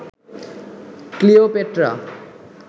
Cleopatra